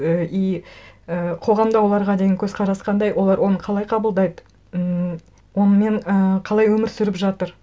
і и і қоғамда оларға деген көзқарас қандай олар оны қалай қабылдайды ммм онымен і қалай өмір сүріп жатыр